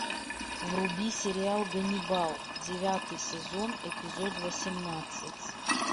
вруби сериал ганнибал девятый сезон эпизод восемнадцать